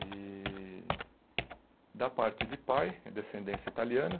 E da parte de pai, é descendência italiana.